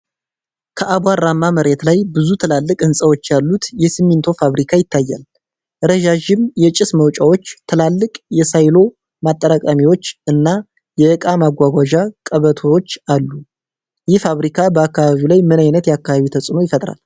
ከአቧራማ መሬት ላይ ብዙ ትላልቅ ህንፃዎች ያሉት የሲሚንቶ ፋብሪካ ይታያል። ረዣዥም የጭስ ማውጫዎች፣ ትላልቅ የሳይሎ ማጠራቀሚያዎች እና የእቃ ማጓጓዣ ቀበቶዎች አሉ። ይህ ፋብሪካ በአካባቢው ላይ ምን ዓይነት የአካባቢ ተጽዕኖ ይፈጥራል?